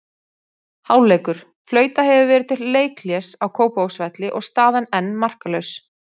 Hálfleikur: Flautað hefur verið til leikhlés á Kópavogsvelli og staðan enn markalaus.